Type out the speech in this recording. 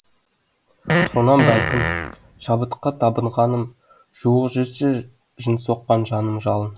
сонан бәлкім шабытқа табынғаным жуық жүрсе жын соққан жаным жалын